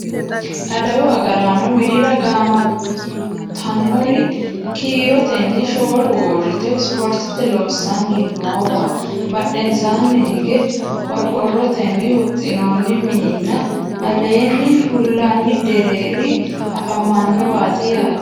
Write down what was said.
adawu agraano widira gaamantannori kiirotenni shoolu uurrite spoorte loossanni noowa badhensaanni hige qororrotenni huxxinoonni mininna aleenge fullani deerria afamanowaati yaate